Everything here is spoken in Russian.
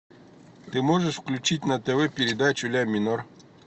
ты можешь включить на тв передачу ля минор